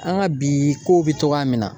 An ka bi kow bɛ cɔgɔya min na